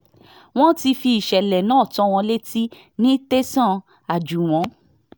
wọ́n ti fi ìṣẹ̀lẹ̀ náà tó wọn létí ní tẹ̀sán àjúwọ̀n